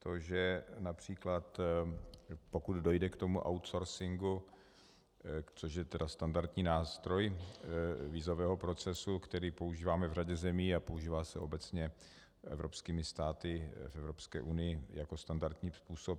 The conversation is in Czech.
To, že například pokud dojde k tomu outsourcingu, což je tedy standardní nástroj vízového procesu, který používáme v řadě zemí a používá se obecně evropskými státy v Evropské unii jako standardní způsob.